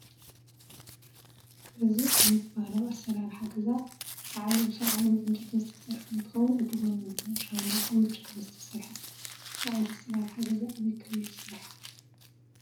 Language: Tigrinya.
እዚ ዓይነት ባህላዊ ኣሰራርሓ ገዛ ላዕሉ ብሳዕርን ብእንጨይትን ዝተሰርሐ እንትኸውን እቲ ጎኑ ድማ ብሻንቦቆን ብጭቃን ዝተሰርሐ እዩ፡፡ እዚ ዓይነት ኣሰራርሓ ገዛ ኣበይ ክልል ዝስራሕ ይኸውን?